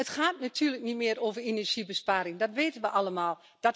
Het gaat natuurlijk niet meer over energiebesparing, dat weten we allemaal.